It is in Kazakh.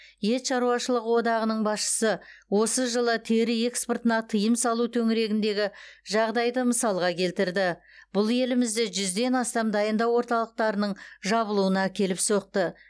ет шаруашылығы одағының басшысы осы жылы тері экспортына тыйым салу төңірегіндегі жағдайды мысалға келтірді бұл елімізде жүзден астам дайындау орталықтарының жабылуына әкеліп соқты